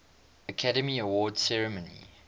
academy awards ceremony